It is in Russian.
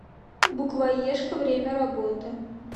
букваешка время работы